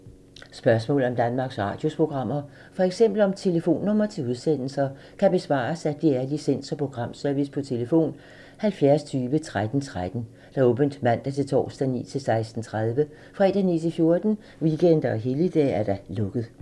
Spørgsmål om Danmarks Radios programmer, f.eks. om telefonnumre til udsendelser, kan besvares af DR Licens- og Programservice: tlf. 70 20 13 13, åbent mandag-torsdag 9.00-16.30, fredag 9.00-14.00, weekender og helligdage: lukket.